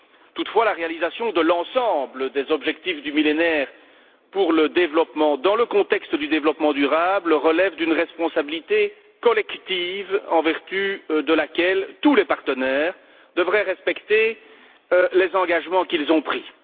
Toutefois, la réalisation de l'ensemble des objectifs du Millénaire pour le développement, dans le contexte du développement durable, relève d'une responsabilité collective en vertu de laquelle tous les partenaires devraient respecter les engagements qu'ils ont pris.